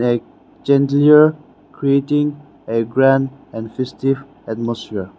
A a chandellier creating a grand and festive atmosphere.